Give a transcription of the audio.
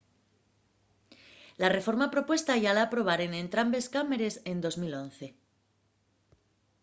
la reforma propuestá yá la aprobaren entrambes cámares en 2011